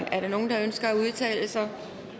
er der nogen der ønsker at udtale sig